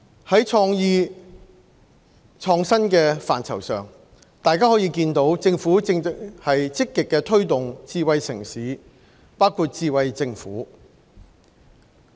在創意創新的範疇上，大家可以見到政府正在積極推動智慧城市，包括智慧政府。